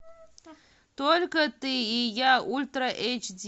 только ты и я ультра эйч ди